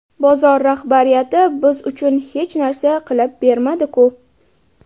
Bozor rahbariyati biz uchun hech narsa qilib bermadi-ku?